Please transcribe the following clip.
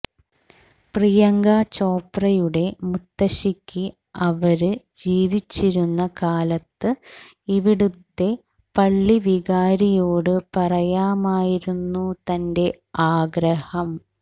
പ്രിയങ്ക ചോപ്രയുടെ മുത്തശിക്ക് അവര് ജീവിച്ചിരുന്ന കാലത്ത് ഇവിടുത്തെ പള്ളിവികാരിയോട് പറയാമായിരുന്നു തന്റെ ആഗ്രഹം